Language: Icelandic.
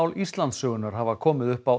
Íslandssögunnar hafa komið upp á